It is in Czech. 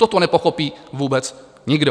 Toto nepochopí vůbec nikdo.